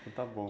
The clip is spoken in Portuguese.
Então está bom.